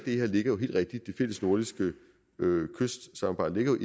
af det fælles nordiske kystsamarbejde ligger